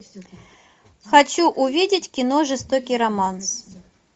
хочу увидеть кино жестокий романс